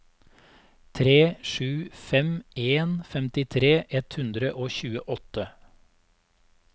tre sju fem en femtifire ett hundre og tjueåtte